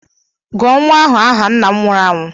Gụọ nwa ahụ aha nna m nwụrụ anwụ!